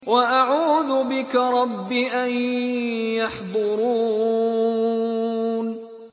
وَأَعُوذُ بِكَ رَبِّ أَن يَحْضُرُونِ